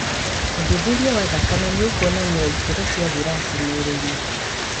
ũthuthuria wa thakame nĩũkuonania ikĩro cia viraci mwĩrĩ-inĩ